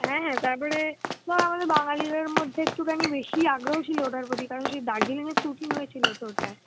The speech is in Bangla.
হ্যাঁ হ্যাঁ তারপরে বা আমাদের বাঙালিদের মধ্যে একটুখানি বেশিই আগ্রহ ছিলো অতার প্রতি কারণ সেই Darjeeling এ shooting হয়েছিল তো ওটায়